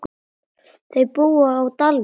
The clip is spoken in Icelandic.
Þau búa á Dalvík.